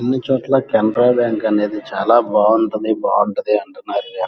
ఈ చెట్లకి చాలా బాగుంటది బాగుంటది అని అంటున్నారు.